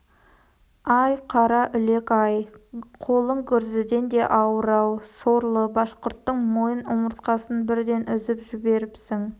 ай қараүлек-ай қолың гүрзіден де ауыр-ау сорлы башқұрттың мойын омыртқасын бірден үзіп жіберіпсің